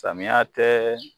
Samiya tɛɛ